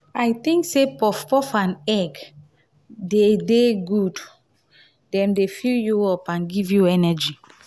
i think say puff puff and egg dey dey goood dem dey fill you up and give you energy